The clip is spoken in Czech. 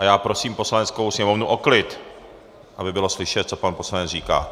A já prosím Poslaneckou sněmovnu o klid, aby bylo slyšet, co pan poslanec říká.